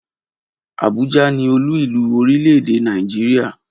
Abuja ni olú-ìlú orílẹ̀-èdè Nàìjíríà